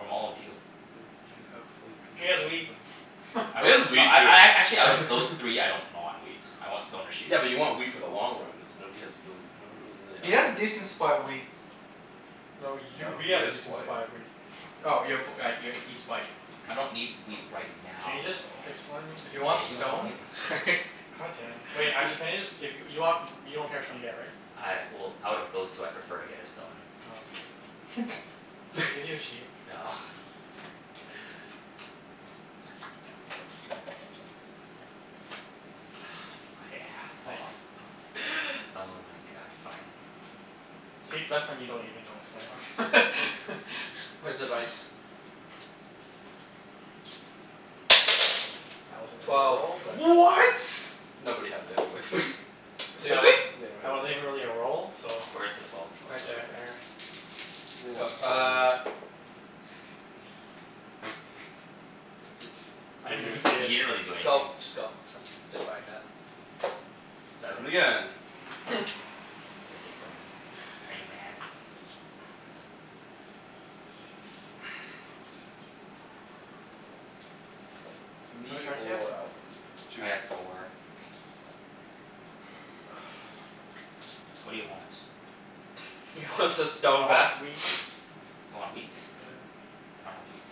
From all of you. Well, do you have like, a He good has chance of wheat. like I It don't, is no, wheat, I too. I a- actually out of those three, I don't know on wheat. I want stone or sheep. Yeah, but you want wheat for the long run cuz nobody has really, nobody really He has has wheat. decent supply of wheat. No, you, No, we he have a has decent white. supply of wheat. Oh y- p- uh, y- he's white. I don't need wheat right Can you now, just though. pick someone? If you want Let's move stone on. God damn. Wait, actually can you just give you, you want, you don't care which one you get, right? I, well, out of those two I prefer to get a stone. Oh, okay. Can I just give you a sheep? No. My ass It's off. nice. Oh my god, fine. See, it's best when you don't even know what's going on. Where's the dice? That wasn't really a Twelve. roll, but What? Nobody has it anyways. But that Seriously? wasn't, Yeah, that wasn't nobody even has it. really a roll, so Where is the twelve? Oh, Oh, it's Right Right it's over there. over there. there. there. Go. Uh I didn't even see You it. didn't really do anything. Go. Just go. I'm just buying that. Seven Seven. again. You gonna take from me? Are you mad? How many Me cards do you have? or Alvin. Two. I have four. Oh, fuck. What do you want? He wants his I stone back. want wheat. You want wheat? Yeah. I don't have wheat.